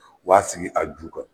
U b'a sigi a ju kan.